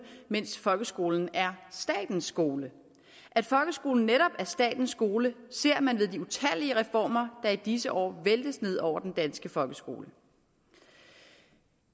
mens folkeskolen er statens skole at folkeskolen netop er statens skole ser man ved de utallige reformer der i disse år væltes ned over den danske folkeskole